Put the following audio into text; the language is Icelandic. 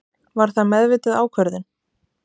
Var það meðvituð ákvörðun?